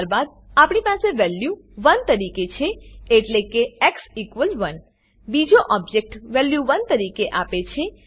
ત્યારબાદ આપણી પાસે વેલ્યુ 1 તરીકે છે એટલે કે x1 બીજો ઓબજેક્ટ વેલ્યુ 1 તરીકે આપે છે